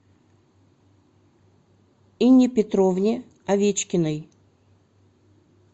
инне петровне овечкиной